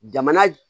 Jamana